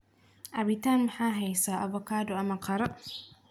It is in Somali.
cabitan maxaa haysaa avacado ama qara